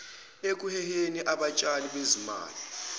ekuheheni abatshali bezimali